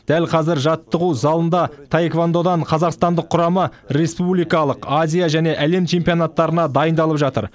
дәл қазір жаттығу залында таэквондодан қазақстандық құрама республикалық азия және әлем чемпионаттарына дайындалып жатыр